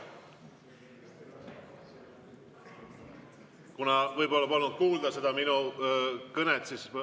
Kuna võib-olla polnud kuulda minu kõnet, siis …